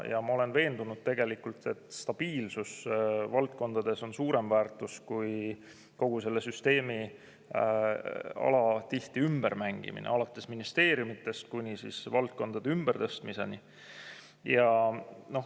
Ja ma olen veendunud, et stabiilsus valdkondades on suurem väärtus kui kogu selle süsteemi alatihti ümbermängimine alates ministeeriumidest kuni valdkondade ümbertõstmiseni.